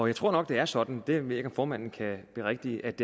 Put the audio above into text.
jeg tror nok det er sådan det ved jeg ikke om formanden kan berigtige at